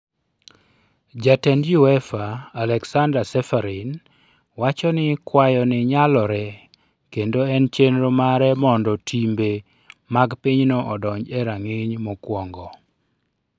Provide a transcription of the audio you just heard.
Jatend Uefa, Aleksander Ceferin, wacho ni kwayo ni nyalore kendo en chenro mare mondo timbe mag pinyno odonj e rang'iny mokwongo.